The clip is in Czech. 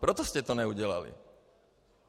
Proto jste to neudělali.